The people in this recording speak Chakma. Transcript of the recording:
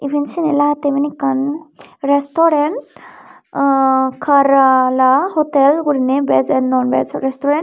iyen seney lagette iben ekkan restaurant ah karala hotel guriney veg and non veg restaurant.